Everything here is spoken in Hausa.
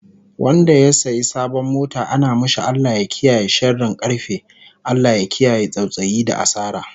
Wanda ya saya sabon mota ana mashi Allah ya kiyaye sharin karfe, Allah ya kiyaye tsautsayi da asara